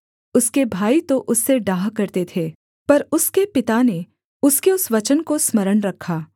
उसके भाई तो उससे डाह करते थे पर उसके पिता ने उसके उस वचन को स्मरण रखा